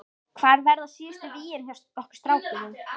Hvar verða síðustu vígin hjá okkur strákunum?